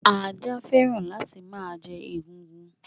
Ajá féràn la ti ma je egungun